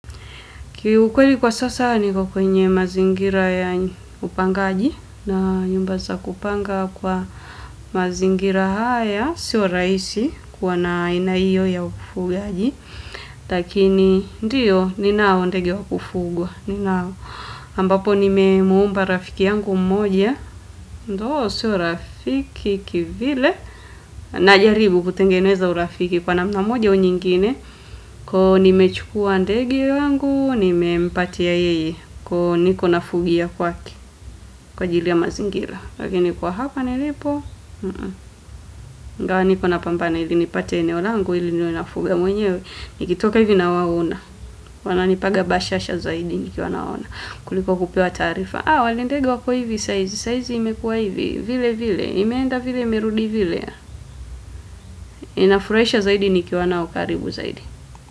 Kiukweli kwa sasa niko kwenye mazingira ya upangaji na nyumba za kupanga kwa mazingira haya sio rahisi kuwa na aina hio ya ufugaji. Lakini ndio ninao ndege wa kufugwa. Ninao ambapo nimemwomba rafiki yangu mmoja. Ndo si rafiki kivile najaribu kutengeneza urafiki kwa namna moja au nyingine kwa nimechukua ndege wangu, nimepatia yeye kwa niko nafugia kwake kwa ajili ya mazingira lakini kwa hapa nilipo ingawa nipo napambana hivi nipate eneo langu ili niwe nafuga mwenyewe nikitoka hivi nawaona wananipaga bashasha zaidi nikiwa naona kuliko kupewa taarifa wale ndege wako hivi saa hizi, saa hizi imekua hivi vile vile, imeenda vile, imerudi vile inafurahisha zaidi nikiona wako karibu zaidi.